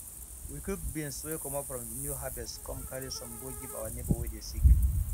we cook beans wey comot from de new harvest come carry some go give our neighbor wey dey sick